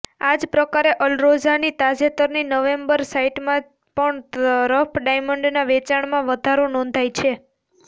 આ જ પ્રકારે અલરોઝાની તાજેતરની નવેમ્બર સાઇટમાં પણ રફ ડાયમંડના વેચાણમાં વધારો નોંધાયો છે